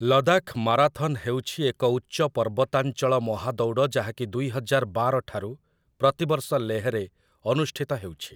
Ladakh marathon ହେଉଛି ଏକ ଉଚ୍ଚ ପର୍ବତାଞ୍ଚଳ ମହାଦୌଡ଼ ଯାହାକି ଦୁଇହଜାର ବାର ଠାରୁ ପ୍ରତିବର୍ଷ ଲେହ୍‌ରେ ଅନୁଷ୍ଠିତ ହେଉଛି ।